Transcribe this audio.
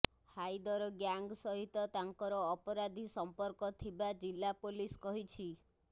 Hyder gang ସହିତ ତାଙ୍କର ଅପରାଧୀ ସମ୍ପର୍କ ଥିବା ଜିଲ୍ଲା ପୋଲିସ କହିଛି